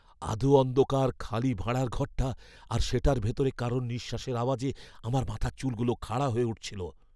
আধো অন্ধকার খালি ভাঁড়ার ঘরটা আর সেটার ভেতরে কারোর নিশ্বাসের আওয়াজে আমার মাথার চুলগুলো খাড়া হয়ে উঠেছিল।